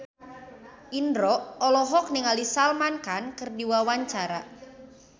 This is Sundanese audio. Indro olohok ningali Salman Khan keur diwawancara